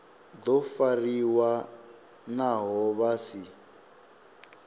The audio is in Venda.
do fariwa naho vha si